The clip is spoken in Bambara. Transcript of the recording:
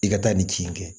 I ka taa nin ci in kɛ